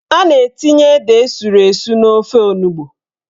A na-etinye ede esuru esu n'ofe onugbo.